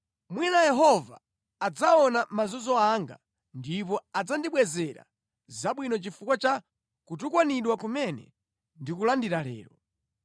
Mwina Yehova adzaona mazunzo anga ndipo adzandibwezera zabwino chifukwa cha kutukwanidwa kumene ndikulandira lero.”